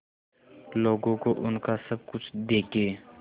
लोगों को उनका सब कुछ देके